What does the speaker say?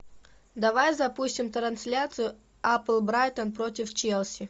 давай запустим трансляцию апл брайтон против челси